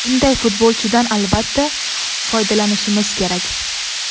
Bunday futbolchidan, albatta, foydalanishimiz kerak.